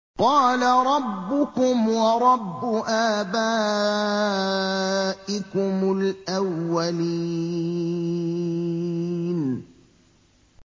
قَالَ رَبُّكُمْ وَرَبُّ آبَائِكُمُ الْأَوَّلِينَ